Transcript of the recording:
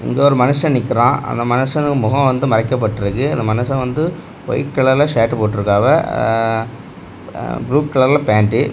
இங்க ஒரு மனுஷன் நிக்கிறான் அந்த மனுஷன் முகம் வந்து மறைக்கப்பட்டிருக்கு அந்த மனுஷன் வந்து வைட் கலர்ல ஷர்ட் போட்ருக்காங்க ஆ ஆ ப்ளூ கலர்ல பேண்ட் .